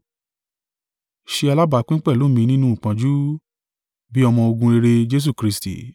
Ṣe alábápín pẹ̀lú mi nínú ìpọ́njú, bí ọmọ-ogun rere Jesu Kristi.